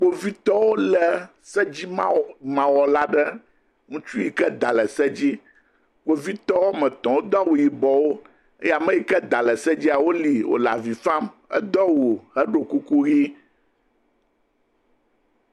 Kpovitɔwo lé sedzimawɔla aɖe, ŋutsu yike da le se dzi, kpovitɔ woame etɔ̃, wodo awu yibɔwo eye ame yike da le se dzia, wolée wòle avi fam. Edo awu, heɖɔ kuku ʋɛ̃.